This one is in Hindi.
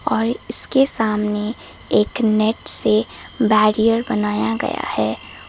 और इसके सामने एक नेट से बैरियर बनाया गया है।